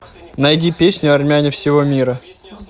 найди песню армяне всего мира